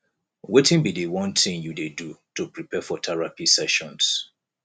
wetin be di one thing you dey do to prepare for therapy sessions